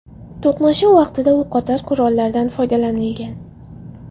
To‘qnashuv vaqtida o‘qotar qurollardan foydalanilgan.